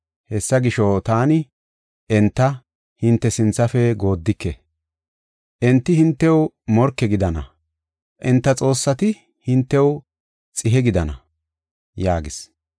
Hessa gisho, taani enta hinte sinthafe gooddike; enti hintew morke gidana; enta xoossati hintew xihe gidana” yaagis.